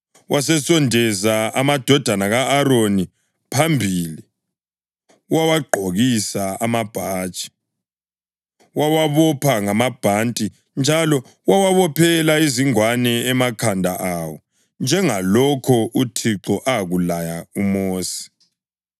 Wasesondeza amadodana ka-Aroni phambili, wawagqokisa amabhatshi, wawabopha ngamabhanti njalo wawabophela izingwane emakhanda awo njengalokho uThixo akulaya uMosi.